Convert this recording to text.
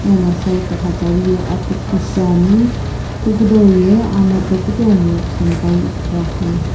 ana side tiigha tsaw ye atughu shiane hukudow ye anato kutomo .]